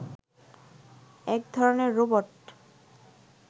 একধরনের রোবট